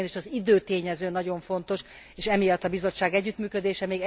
Egyébként is az időtényező nagyon fontos, és emiatt a Bizottság együttműködése.